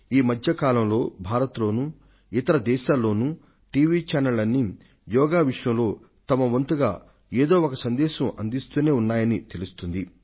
ఈ మధ్య కాలంలో భారతదేశం లోనూ ఇతర దేశాల్లోనూ టెలివిజన్ ఛానెళ్లన్నీ యోగా విషయంలో వాటి వంతుగా ఏదో ఒక సందేశాన్ని అందిస్తూనే ఉన్నట్లు తెలుస్తుంది